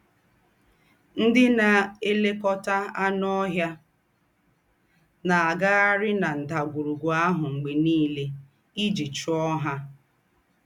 Ńdị́ ná-èlèkọ́tà ànù́ óhìà ná-àgàghàrì na ńdàgwùrùgwù àhụ̀ m̀gbè nìlè íjí chúọ ha.